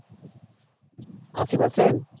আশি percent?